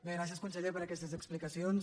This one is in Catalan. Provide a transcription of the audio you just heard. bé gràcies conseller per aquestes explicacions